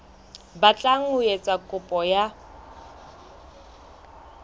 batlang ho etsa kopo ya